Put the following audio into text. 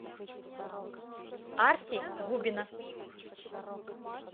арти губина